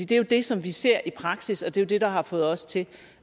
det jo det som vi ser i praksis og det er det der har fået os til